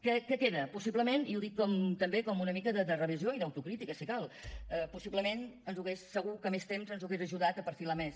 què queda possiblement i ho dic també com una mica de revisió i d’autocrítica si cal possiblement segur que més temps ens hauria ajudat a perfilar més